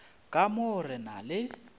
ka mo re na le